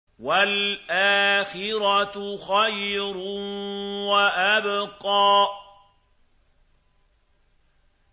وَالْآخِرَةُ خَيْرٌ وَأَبْقَىٰ